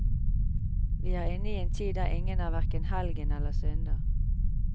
Vi er inne i en tid der ingen er hverken helgen eller synder.